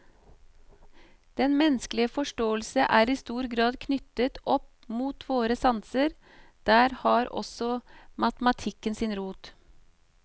Den menneskelige forståelse er i stor grad knyttet opp mot våre sanser, der har også matematikken sin rot.